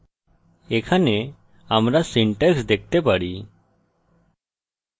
এখানে আমরা syntax দেখতে পারি